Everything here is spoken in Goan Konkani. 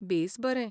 बेस बरें!